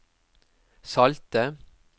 salte